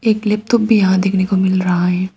एक लेपतोप भी यहां देखने को मिल रहा है।